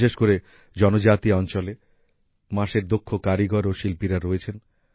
বিশেষ করে জনজাতি অঞ্চলে বাঁশের দক্ষ কারিগর ও শিল্পীরা রয়েছেন